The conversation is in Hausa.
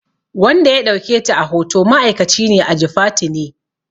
Wanda ya ɗauke ta a hoto ma'aikaci ne a Jifatu ne